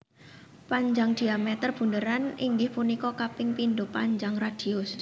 Panjang dhiameter bunderan inggih punika kaping pindho panjang radius